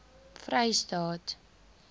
vrystaat